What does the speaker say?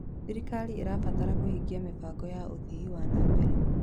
Thirikari ĩrabatara kũhingia mĩbango ya ũthii wa na mbere.